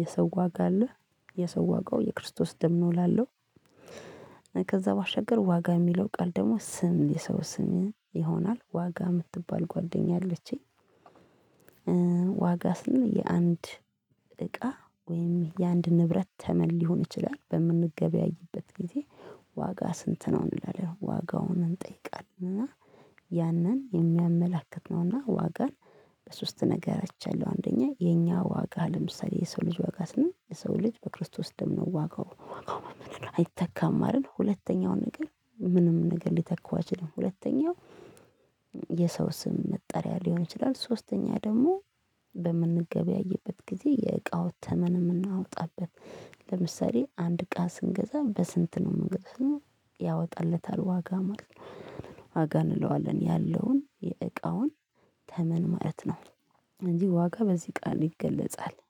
የሰው ዋጋ አለ የሰው ዋጋው የክርስቶስ ደም ነው እላለው። ከዛ ባሻገር ዋጋ የሚለው ቃል ደሞ ስም የሰው ስም ይሆናል ዋጋ ምትባል ጓደኛ አለችኝ። ዋጋ ስል የአንድ እቃ ወይም የአንድ ንብረት ተመን ሊሆን ይችላል በምንገበያይበት ጊዜ። ዋጋ ስንት ነው እንላለን ዋጋውን እንጠይቃለን እና ያንን የሚያመላክት ነውና ዋጋን። በሶስት ነገር አይቻለሁ አንደኛ የኛ ዋጋ ለምሳሌ የሰው ልጅ ዋጋ ስንል የሰው ልጅ በክርስቶስ ደም ነው ዋጋው ዋጋው አይተካም አደል። ሁለተኛው ነገር ምንም ነገር ሊተካው አይችልም። ሁለተኛው የሰው ስም መጠሪያ ሊሆን ይችላል። ሶስተኛ ደሞ በምንገበያይበት ጊዜ የእቃው ተመን ምናወጣበት። ለምሳሌ አንድ እቃ ስንገዛ በስንት ነው ምንገዛው ስንል ያወጣለታል ዋጋ ማለት ነው። ዋጋ እንለዋለን ያለውን የእቃውን ተመን ማለት ነው። እንጂ ዋጋ በዚህ ቃል ይገለጻል